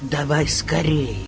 давай скорей